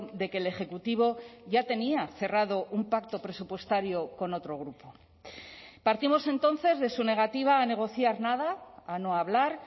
de que el ejecutivo ya tenía cerrado un pacto presupuestario con otro grupo partimos entonces de su negativa a negociar nada a no hablar